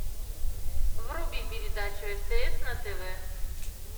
вруби передачу стс на тв